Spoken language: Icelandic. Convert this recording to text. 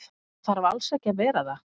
Hann þarf alls ekki að vera það.